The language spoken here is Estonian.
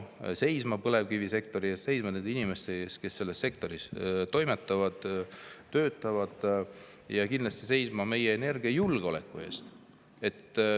Me hakkame seisma põlevkivisektori eest, seisma nende inimeste eest, kes selles sektoris toimetavad-töötavad, ja kindlasti hakkame seisma meie energiajulgeoleku eest.